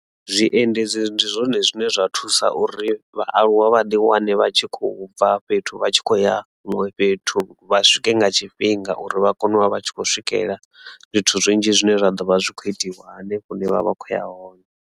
Zwiendedzi ndi zwone zwine zwa thusa uri vhaaluwa vha ḓi wane vha tshi khou bva fhethu vha tshi khou ya huṅwe fhethu vha swike nga tshifhinga uri vha kone u vha vha tshi khou swikelela zwithu zwinzhi zwine zwa ḓo vha zwi kho itiwa hanefho hune vha ḓovha vha khou ya hone.